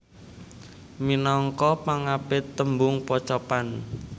Minangka pangapit tembung pocapan